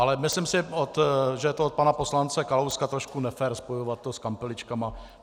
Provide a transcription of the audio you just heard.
Ale myslím si, že je to od pana poslance Kalouska trošku nefér spojovat to s kampeličkami.